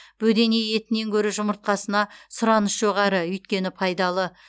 бөдене етінен гөрі жұмыртқасына сұраныс жоғары өйткені пайдалы